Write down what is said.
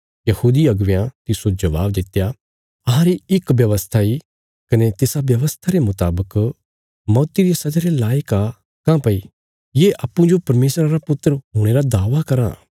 यहूदी अगुवेयां तिस्सो जबाब दित्या अहांरी इक व्यवस्था इ कने तिसा व्यवस्था रे मुतावक मौती रिया सजा रे लायक आ काँह्भई ये अप्पूँजो परमेशरा रा पुत्र हुणे रा दावा करां